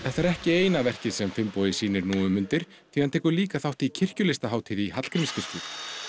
þetta er ekki eina verkið sem Finnbogi sýnir nú um stundir því hann tekur líka þátt í kirkjulistahátíð í Hallgrímskirkju